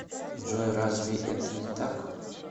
джой разве это не так